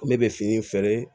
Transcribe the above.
Ne bɛ fini feere